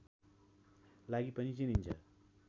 लागि पनि चिनिन्छन्